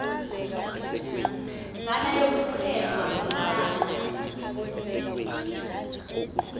mvana yokuxhelwa lamla